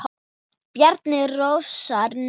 Bjarni Rósar Nei.